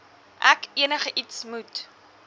ek enigiets moet